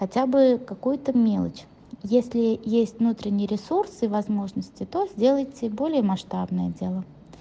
хотя бы какую-то мелочь если есть внутренние ресурсы и возможности то сделайте более масштабное дело